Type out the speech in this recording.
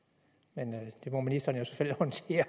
jeg siger